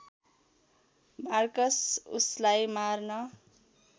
Marcus उसलाई मार्न